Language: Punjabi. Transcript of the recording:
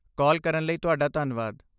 ਕਾਲ ਕਰਨ ਲਈ ਤੁਹਾਡਾ ਧੰਨਵਾਦ।